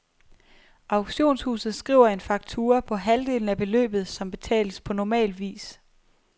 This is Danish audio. Auktionshuset skriver en faktura på halvdelen af beløbet, som betales på normal vis.